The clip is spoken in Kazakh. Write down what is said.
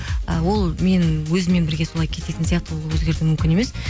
і ол менің өзіммен бірге солай кететін сияқты оны өзгерту мүмкін емес